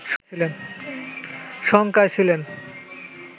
শংকায় ছিলেন